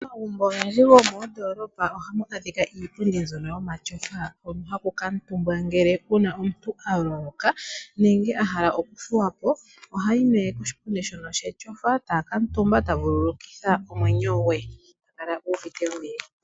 Momagumbo ogendji gomoondoolopa ohamu adhika iipundi mbyono yomatyofa hono haku kaatumbwa ngele uuna omuntu a loloka nenge a hala okuthuwa po, ohayi nee koshipundi shono shetyofa e ta vululukitha omwenyo gwe e ta kala u uvite ombili.